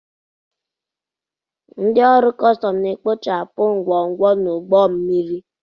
Ndị ọrụ kọstọm na-ekpochapụ ngwongwo n'ụgbọ mmiri.